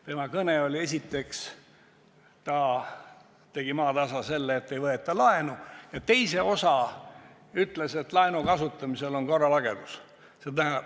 Tema oma kõnes esiteks tegi maatasa selle, et ei võeta laenu, ja teises osas ütles, et laenu kasutamisel on korralagedus.